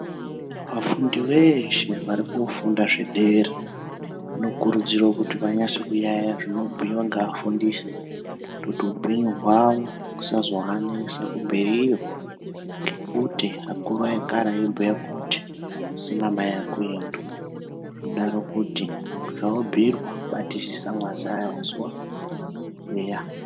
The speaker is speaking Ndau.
Vafundi veshe vari kufunda zvedera vanokurudzirwa kuti vanyase kuyayeya zvinobhuiyiwa ngeafundisi kuitira kuti hupenyu hwavo husazoanesa kumberiyo ngekuti akuru ekare aibhuya kuti kusina mai akuendwi zvinodaro kuti zvawabhuirwa batisisa wazaya wazwa eya.